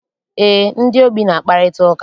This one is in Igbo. Eé, ndị ogbii na-akparịta ụka.